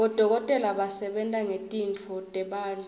bodokotela basebenta ngetitfo tebantfu